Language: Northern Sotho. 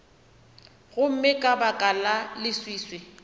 gomme ka baka la leswiswi